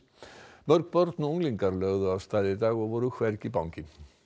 mörg börn og unglingar lögðu af stað í dag og voru hvergi bangin